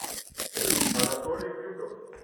анатолий крюков